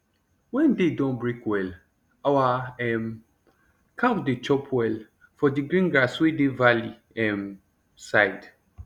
wen day don break well our um cow dey chop well for d green grass wey dey valley um side